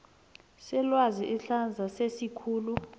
selwazi isandla sesikhulu